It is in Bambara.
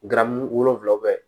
Garamu wolonvila